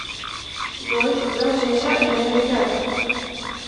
джой когда начался элен и ребята